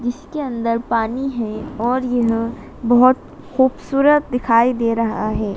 इसके अंदर पानी है और यह बहोत खूबसूरत दिखाई दे रहा है।